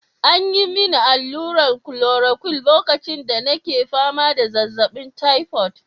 An yi mini allurar chloroquine lokacin da nake fama da zazzabin typhoid.